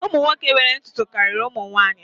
Ụmụ nwoke nwere ntutu karịa ụmụ nwanyị